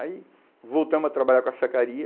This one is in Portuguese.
Aí voltamos a trabalhar com a sacaria.